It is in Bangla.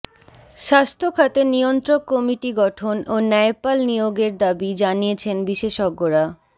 স্বাস্থ্যখাতে নিয়ন্ত্রক কমিটি গঠন ও ন্যায়পাল নিয়োগের দাবি জানিয়েছেন বিশেষজ্ঞরা